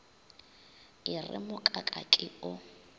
e re mokaka ke o